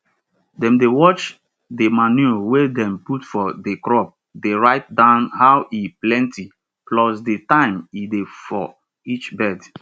dem dey watch di manure wey dem put for di crop dey write down how e plenti plus di time e dey for each bed